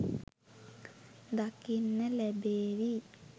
දකින්න ලැබේවි.